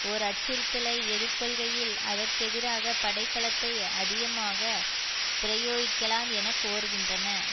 ஓர் அச்சுறுத்தலை எதிர்கொள்கையில் அதற்கெதிராக படைப்பலத்தை அதிகமாக பிரயோகிக்கலாம் என கோருகின்றன